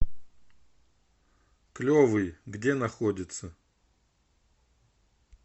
клевый где находится